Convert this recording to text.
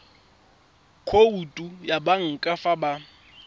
khoutu ya banka fa ba